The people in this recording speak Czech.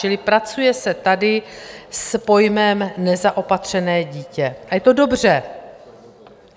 Čili pracuje se tady s pojmem nezaopatřené dítě a je to dobře.